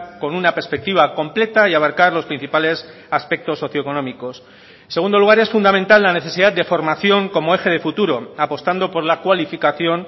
con una perspectiva completa y abarcar los principales aspectos socioeconómicos en segundo lugar es fundamental la necesidad de formación como eje de futuro apostando por la cualificación